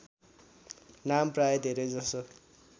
नाम प्राय धेरैजसो